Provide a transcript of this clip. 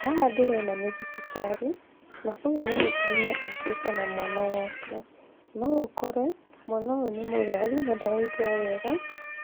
Haha ndĩrona nĩ thibitarĩ, na ũyũ nĩ mũtumia ũũkĩte na mwana wake. No ũkore mwana ũyũ nĩ mũrwaru na ndaraigua wega,